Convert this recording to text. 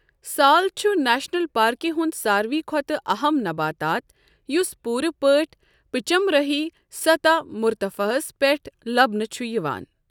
سال چھُ نیشنل پارکہِ ہُنٛد ساروٕے کھۄتہٕ اَہَم نباتات یُس پوٗرٕ پٲٹھۍ پچمرہی سطح مرتفعَس پٮ۪ٹھ لَبنہٕ چھُ یِوان۔